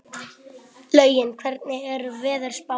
Laugi, hvernig er veðurspáin?